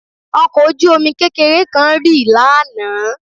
Ọkọ̀ ojú-omi kékeré kan rì lánàá